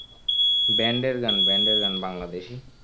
band এর গান band এর গান বাংলাদেশি.